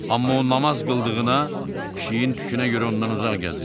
Amma o namaz qıldığına, pişiyin tükünə görə ondan uzaq gəzirdi.